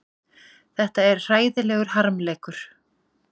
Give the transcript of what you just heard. Þetta er hræðilegur harmleikur